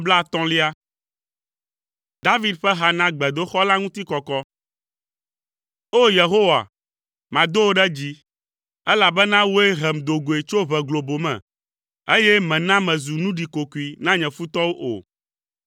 David ƒe ha na gbedoxɔ la ŋutikɔkɔ. O! Yehowa, mado wò ɖe dzi, elabena wòe hem do goe tso ʋe globo me, eye mèna mezu nu ɖikokoe na nye futɔwo o.